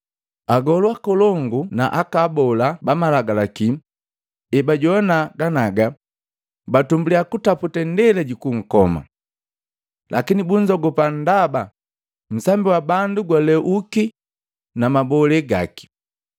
Agolu akolongu na abola bamalagalaki ebajoana ganaga, batumbulya kutaputa indela jukunkoma. Lakini bunzogupa ndaba nsambi wa bandu gwalweuki na mabolee gaki.